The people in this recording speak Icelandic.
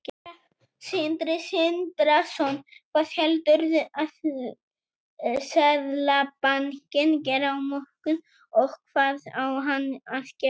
Sindri Sindrason: Hvað heldurðu að Seðlabankinn geri á morgun, og hvað á hann að gera?